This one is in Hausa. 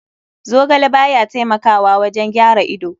Zogale baya taimakawa wajen gyaran ido.